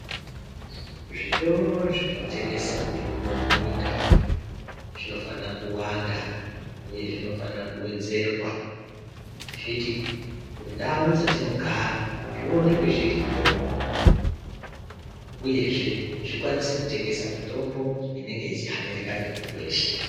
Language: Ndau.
Zvitoro zvinotengese mitombo munyika zvinofana kuwanda uye zvinofanire kuwedzerwa zviti kundau dzatinogara zvionekwe zviriyo uyezve zvikwanise kutengesa mitombo inenge yeihanirika ngemuntu weshe.